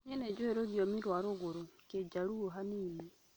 Nĩ njũĩ rũthiomi rwa rũgũrũ/kĩjaruo hanini